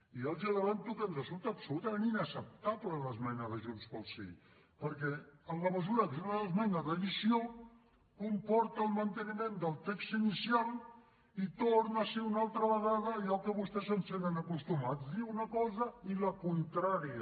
i ja els avanço que ens resulta completament inacceptable l’esmena de junts pel sí perquè en la mesura que és una esmena d’addició comporta el manteniment del text inicial i torna a ser una altra vegada allò a què vostès ens tenen acostumats dir una cosa i la contrària